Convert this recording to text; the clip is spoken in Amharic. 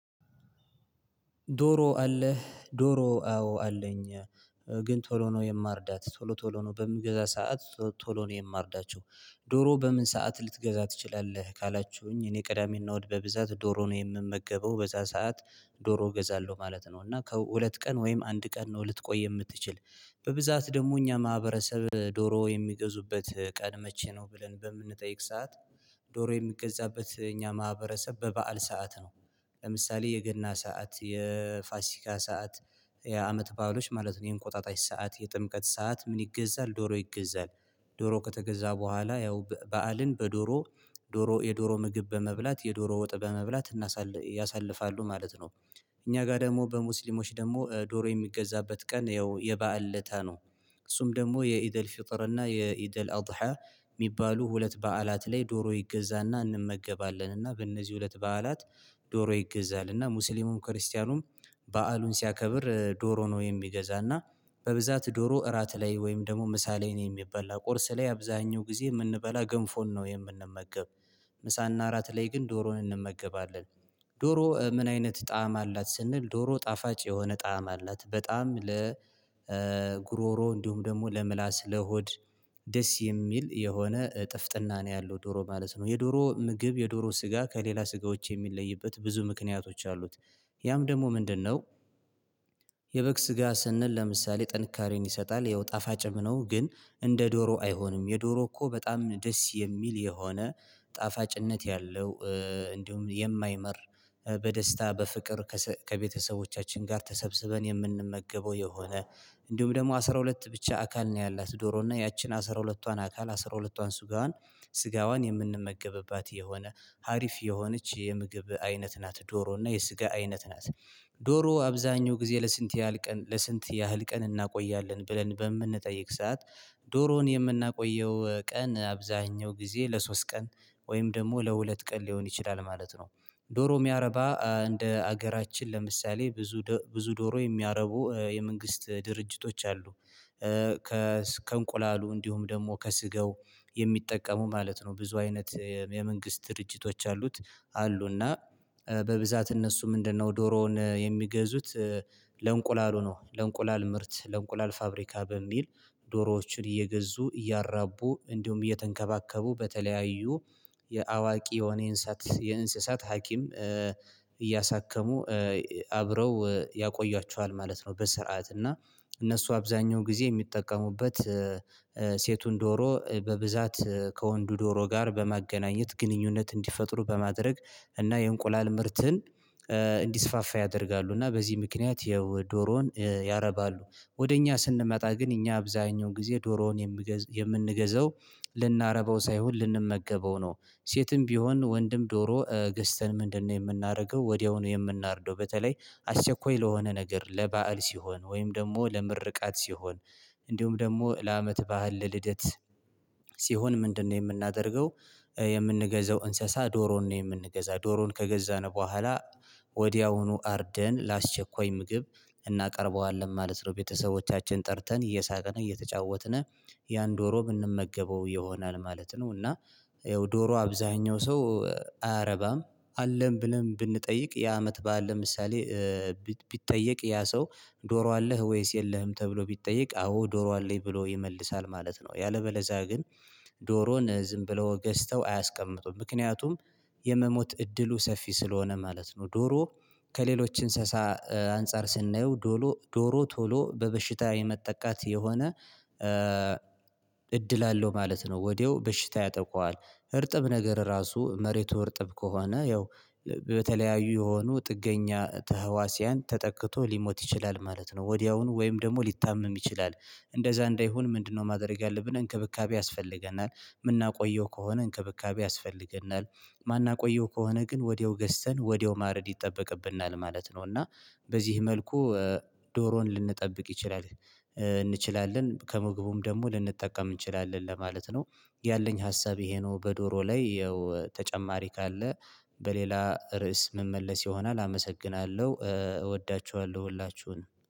ዶሮ አለህ? ዶሮ አዎ አለኝ። ግን ቶሎ ነው የማርዳት ቶሎ ቶሎ ነው በምንገዛ ሰዓት ቶሎ ነው የማርዳቸው። ዶሮ በምን ሰዓት ልትገዛ ትችላለህ? ካላችሁኝ እኔ ቀዳሜ እና እሀድ በብዛት ዶሮ ነው የምመገበው። በዛ ሰዓት ዶሮ እገዛለሁ ማለት ነው። እና ከሁለት ቀን ወይም አንድ ቀን ነው ልትቆይ የምትችል። በብዛት ደግሞ እኛ ማህበረሰብ ዶሮ የሚገዙበት ቀን መቼ ነው። ብለን በምንጠይቅ ሰዓት ዶሮ የሚገዛበት እኛ ማህበረሰብ በበዓል ሰዓት ነው። ለምሳሌ የገና ሰዓት የፋሲካ ሰዓት የአመት ባህሎች ማለት ነው። የእንቆጣጣሽ ሰዓት የጥምቀት ሰዓት ምን ይገዛል ዶሮ ይገዛል። ዶሮ ከተገዛ በኋላ ያው በዓልን በዶሮ ዶሮ የዶሮ ምግብ በመብላት የዶሮ ወጥ በመብላት ያሳልፋሉ ማለት ነው። እኛ ጋር ደግሞ በሙስሊሞች ደግሞ ዶሮ የሚገዛበት ቀን ያው የበአል ለታ ነው እሱም ደግሞ የኢደል ፍጥርና የኢደል አውዳሃ የሚባሉ ሁለት በዓላት ላይ ዶሮ ይገዛና እንመገባለንና በእነዚህ ሁለት በዓላት ዶሮ ይገዛል። እና ሙስሊሙም ክርስቲያኑም በዓሉን ሲያከብር ዶሮ ነው የሚገዛ። እና በብዛት ዶሮ እራት ላይ ወይም ደግሞ ምሳ ላይ ነው የሚበላ። ቁርስ ላይ አብዛኛው ጊዜ የምንበላ ገንፎን ነው የምንመገብ። ምሳ እና እራት ላይ ግን ዶሮን እንመገባለን። ዶሮ ምን አይነት ጣዕም አላት? ስንል ዶሮ ጣፋጭ የሆነ ጣዕም አላት። በጣም ለ ለጉሮሮ እንዲሁም ደግሞ ለምላስ ለሆድ ደስ የሚል የሆነ ጥፍጥና ነው ያለው። ዶሮ ማለት ነው የዶሮ ምግብ የዶሮ ስጋ ከሌላ ስጋዎች የሚለይበት ብዙ ምክንያቶች አሉት ያም ደግሞ ምንድነው? የበግ ስጋ ስንል ለምሳሌ ጠንካሬን ይሰጣል ያው ጣፋጭም ነው። ግን እንደ ዶሮ አይሆንም የዶሮ እኮ በጣም ደስ የሚል የሆነ ጣፋጭነት ያለው። እንዲሁም የማይመር በደስታ በፍቅር ከቤተሰቦቻችን ጋር ተሰብስበን የምንመገበው። የሆነ እንዲሁም ደግሞ አስራ ሁለት ብቻ አካል ነው ያላት ዶሮ እና ያቺን አስራ ሁለቷን አካል አስራ ሁለቷን ስጋዋን ስጋዋን የምንመገብባት የሆነ ሀሪፍ የሆነች የምግብ አይነት ናት ዶሮ። እና የስጋ አይነት ናት ዶሮ አብዛኛው ጊዜ ለስንት ያህል ቀን ለስንት ያህል ቀን እናቆያለን? ብለን በምንጠይቅ ሰዓት ዶሮን የምናቆየው ቀን አብዛኛው ጊዜ ለሶስት ቀን ወይም ደግሞ ለሁለት ቀን ሊሆን ይችላል። ማለት ነው ዶሮ የሚያረባ እንደ ሀገራችን ለምሳሌ ብዙ ብዙ ዶሮ የሚያረቡ የመንግስት ድርጅቶች አሉ። ከእንቁላሉ እንዲሁም ደግሞ ከስገው የሚጠቀሙ ማለት ነው። ብዙ አይነት የመንግስት ድርጅቶች አሉት አሉ። እና በብዛት እነሱ ምንድነው? ዶሮውን የሚገዙት ለእንቁላል ሆኖ ለእንቁላል ምርት ለእንቁላል ፋብሪካ በሚል ዶሮዎችን እየገዙ እያራቡ እንዲሁም እየተንከባከቡ በተለያዩ የአዋቂ የሆነ የእንስሳት የእንስሳት ሀኪም እያሳከሙ አብረው ያቆያቸዋል ማለት ነው። በስርዓት እና እነሱ አብዛኛው ጊዜ የሚጠቀሙበት ሴቱን ዶሮ በብዛት ከወንዱ ዶሮ ጋር በማገናኘት ግንኙነት እንዲፈጥሩ በማድረግ እና የእንቁላል ምርትን እንዲስፋፋ ያደርጋሉ። እና በዚህ ምክንያት የዶሮውን ያረባሉ ወደ እኛ ስንመጣ ግን እኛ አብዛኛው ጊዜ ዶሮውን የምንገዛው ልናረበው ሳይሆን ልንመገበው ነው። ሴትም ቢሆን ወንድም ዶሮ ገዝተን ምንድነው የምናደርገው? ወዲያውኑ የምናርደው። በተለይ አሸኳይ ለሆነ ነገር ለባእል ሲሆን፣ ወይም ደግሞ ለምርቃት ሲሆን፣ እንዲሁም ደግሞ ለአመት ባእል፣ ለልደት ሲሆን ምንድነው የምናደርገው? የምንገዛው እንስሳ ዶሮን ነው የምንገዛው። ዶሮን ከገዛነው በኋላ ወዲያውኑ አርደን ላስቸኳይ ምግብ እናቀርበዋለን። ማለት ነው ቤተሰቦቻችን ጠርተን እየሳቀን እየተጫወትን ያን ዶሮ ብንመገበው ይሆናል ማለት ነው። እና ይኸው ዶሮ አብዛኛው ሰው አያረባም አለም ብለን ብንጠይቅ ያ አመት በዓል ለምሳሌ ቢጠየቅ ያ ሰው ዶሮ አለህ ወይስ የለህም ተብሎ ቢጠየቅ አዎ ዶሮ አለኝ ብሎ ይመልሳል። ማለት ነው ያለበለዛ ግን ዶሮን ዝም ብሎ ገዝተው አያስቀምጡም። ምክንያቱም የመሞት እድሉ ሰፊ ስለሆነ ማለት ነው። ዶሮ ከሌሎች እንስሳ አንፃር ስናየው ዶሮ ቶሎ በበሽታ የመጠቃት የሆነ እድል አለው ማለት ነው። ወዲያው በሽታ ያጠቃዋል እርጥብ ነገር ራሱ መሬቱ እርጥብ ከሆነ ያው በተለያዩ የሆኑ ጥገኛ ተህዋሲያን ተጠቅቶ ሊሞት ይችላል ማለት ነው። ወዲያውኑ ወይም ደግሞ ሊታመም ይችላል። እንደዛ እንዳይሆን ምንድነው ማድረግ ያለብን? እንክብካቤ ያስፈልገናል። የምናቆየው ከሆነ እንክብካቤ ያስፈልገናል። ማን አቆየው ከሆነ ግን ወዲያው ገዝተን ወዲያው ማረድ ይጠበቅብናል። ማለት ነው እና በዚህ መልኩ ዶሮን ልንጠብቅ ይችላል እንችላለን። ከምግቡም ደግሞ ልንጠቀም እንችላለን ለማለት ነው። ያለኝ ሀሳብ ይሄ ነው በዶሮ ላይ ተጨማሪ ካለ በሌላ ርዕስ መመለስ ይሆናል። አመሰግናለሁ እወዳችኋለሁ ሁላችሁን።